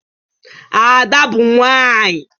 Ada bu nwanyi